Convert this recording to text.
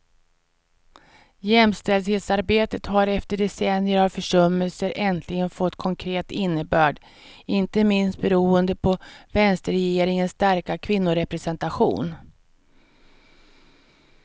Jämställdhetsarbetet har efter decennier av försummelser äntligen fått konkret innebörd, inte minst beroende på vänsterregeringens starka kvinnorepresentation.